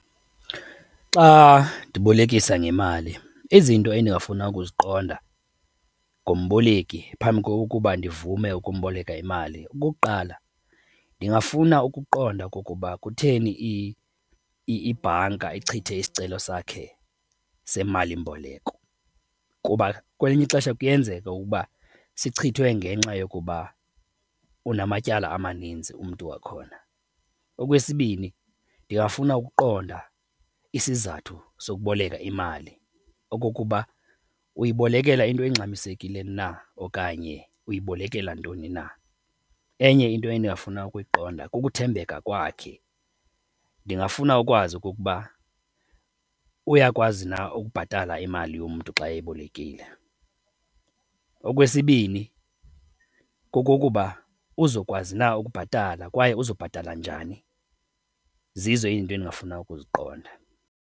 Xa ndibolekisa ngemali, izinto endingafuna ukuziqonda ngomboleki phambi kokuba ndivume ukuboleka imali, okokuqala ndingafuna ukuqonda okokuba kutheni ibhanka ichithe isicelo sakhe semalimboleko kuba kwelinye ixesha kuyenzeka ukuba sichithwe ngenxa yokuba unamatyala amaninzi umntu wakhona. Okwesibini ndingafuna ukuqonda isizathu sokuboleka imali okokuba uyibolekela into engxamisekile na okanye uyibolekela ntoni na. Enye into endingafuna ukuyiqonda kukuthembeka kwakhe, ndingafuna ukwazi okokuba uyakwazi na ukubhatala imali yomntu xa eyibolekile. Okwesibini kokokuba uzokwazi na ukubhatala kwaye uzobhatala njani, zizo izinto endingafuna ukuziqonda.